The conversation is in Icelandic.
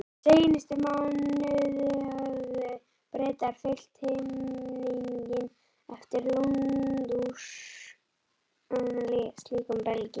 Seinustu mánuði höfðu Bretar fyllt himininn yfir Lundúnum slíkum belgjum.